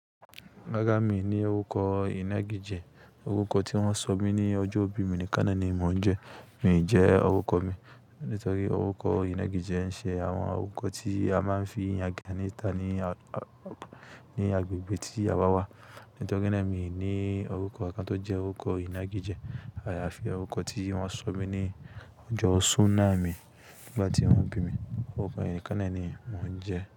Ràrá mi ní orúkọ inagijẹ orúkọ tí wọ́n sọ mí ní ọjọ́bí mi nìkan naa ni mò ń jẹ. Mi jẹ́ orúkọ mi, nítorí orúkọ ìnégijẹ ń ṣe àwọn orúkọ tí a máa ń fi yangan ni ta ní agbègbè tí a bá wá. Nitori naa mi ni orúkọ kan to jẹ orúkọ inagijẹ, àyàfi orukọ ti wọn sọ mi ni ọjọ sunaa mi nígbàtí wọn bi mi. Orúkọ yẹn nìkan náà ni mò ń jẹ.